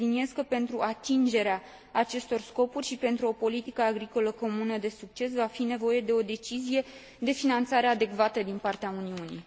Subliniez că, pentru atingerea acestor scopuri și pentru o politică agricolă comună de succes, va fi nevoie de o decizie de finanțare adecvată din partea Uniunii.